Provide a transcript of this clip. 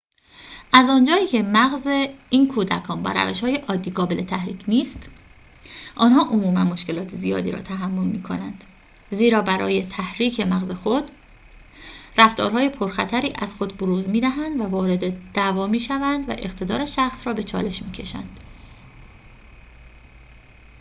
از آنجایی که مغز این کودکان با روش‌های عادی قابل تحریک نیست آن‌ها عموماً مشکلات زیادی را تحمل می‌کنند زیرا برای تحریک مغز خود رفتارهای پرخطری از خود بروز می‌دهند و وارد دعوا می‌شوند و اقتدار شخص را به چالش می‌کشند